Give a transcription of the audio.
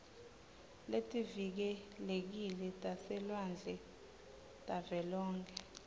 letivikelekile taselwandle tavelonkhe